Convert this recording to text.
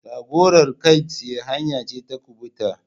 Jagorar kai tsaye hanya ce ta kubuta.